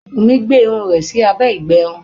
Wunmi gbé irun rẹ ẹ sí abé ìgbẹrun.